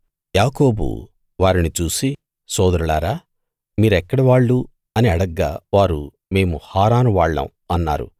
యాకోబు వారిని చూసి సోదరులారా మీరెక్కడి వాళ్ళు అని అడగ్గా వారు మేము హారాను వాళ్ళం అన్నారు